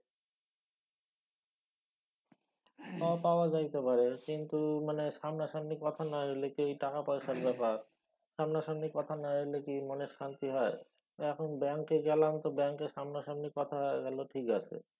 হ পাওয়া যাইতে পারে কিন্তু মানে সামনা সামনি কথা না হইলে কি ঐ টাকাপয়সার ব্যাপার। সামনা সামনি কথা না হইলে কি মনে শান্তি হয়? এখন ব্যাঙ্কে গেলাম তো ব্যাঙ্কে সামনাসামনি কথা হয়া গেলো ঠিক আছে।